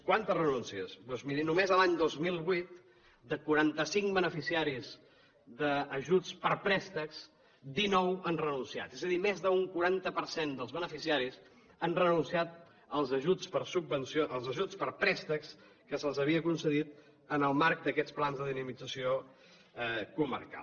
quantes renúncies doncs miri només a l’any dos mil vuit de quaranta cinc beneficiaris d’ajuts per a préstecs dinou han renunciat és a dir més d’un quaranta per cent dels beneficiaris han renunciat als ajuts per a préstecs que els havien concedit en el marc d’aquests plans de dinamització comarcal